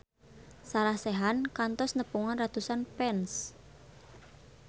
Sarah Sechan kantos nepungan ratusan fans